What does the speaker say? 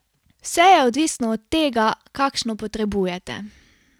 Vse je odvisno od tega, kakšno potrebujete.